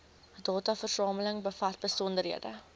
dataversameling bevat besonderhede